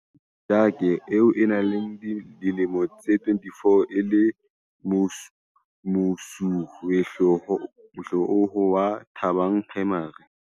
Sejake, eo a nang le dilemo tse 24 e le mosuwehlooho wa Thabang Primary.